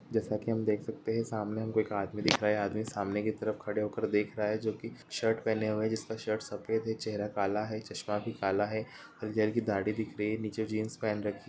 जैसा की हम देख सकते है की सामने एक आदमी सामने की तरफ खड़े होकर देख रहा है जोकि शर्ट पहने हुए जिसका शर्ट सफेद हैं चेहरा काला है चस्मा भी काला है इधर की दाढ़ी दिख रही एह नीचे जींस पेहन रखी।